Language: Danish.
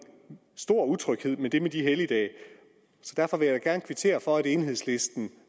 stor utryghed med det med de helligdage så derfor vil jeg da gerne kvittere for at enhedslisten